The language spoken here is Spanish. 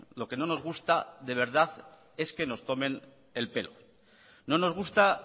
lo que no nos gusta de verdad es que nos tomen el pelo no nos gusta